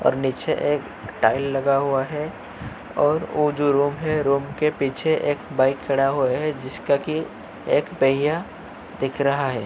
और नीचे एक टाइल लगा हुआ है और ओ जो रूम है रूम के पीछे एक बाइक खड़ा हुआ हेे जिसका की एक पहिया दिख रहा है।